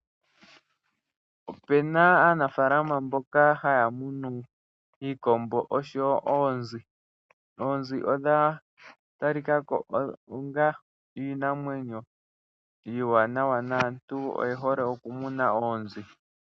Opena aanafaalama mboka haya munu iikombo oshowo oonzi. Oonzi odha talikako onga iinamwenyo iiwanawa naantu oyehole okumuna oonzi .